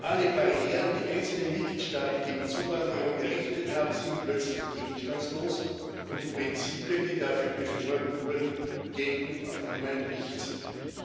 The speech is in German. Alle Barrieren, die einzelne Mitgliedstaaten gegen Zuwanderung errichtet haben, sind plötzlich gegenstandslos, und die Prinzipien, die dafür beschworen wurden, gelten auf einmal nichts mehr.